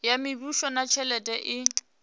ya mishumo na tshelede i